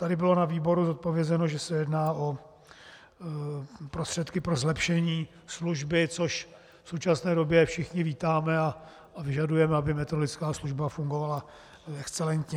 Tady bylo na výboru zodpovězeno, že se jedná o prostředky pro zlepšení služby, což v současné době všichni vítáme a vyžadujeme, aby meteorologická služba fungovala excelentně.